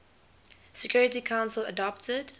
security council adopted